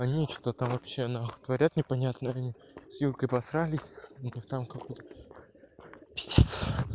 они что-то там вообще нахуй творят непонятно они с юлькой поссорились ну как там какой-то пиздец